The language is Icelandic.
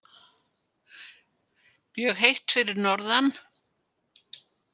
Mjög heitt fyrir norðan